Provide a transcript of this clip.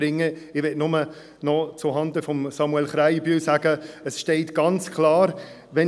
Ich möchte nur noch zuhanden von Samuel Krähenbühl sagen, dass ganz klar geschrieben steht: